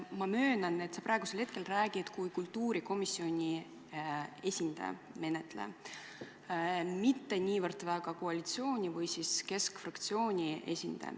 Ma möönan, et sa praegu räägid kui kultuurikomisjoni, menetleja esindaja, mitte niivõrd koalitsiooni või keskfraktsiooni esindaja.